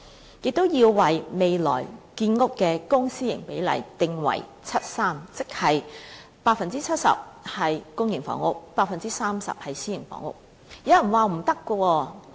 此外，訂定未來建屋的公、私營比例定為 7：3， 即是 70% 是公營房屋 ，30% 是私營房屋。